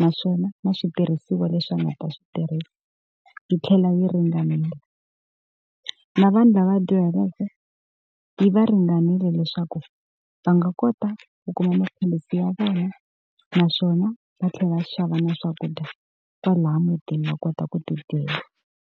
naswona na switirhisiwa leswi nga ta swi tirhisa yi tlhela yi ringanela. Na vanhu lava dyuhaleke yi va ringanile leswaku va nga kota ku kuma maphilisi ya vona, naswona va tlhela va xava na swakudya kwalaha mutini va kota ku tidyela.